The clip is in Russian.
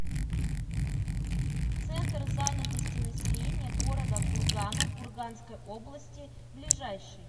центр занятости населения города кургана курганской области ближайший